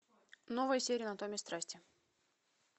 новая серия анатомия страсти